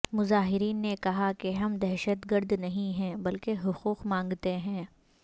مظاہرین نے کہا کہ ہم دہشت گرد نہیں ہیں بلکہ حقوق مانگتے ہیں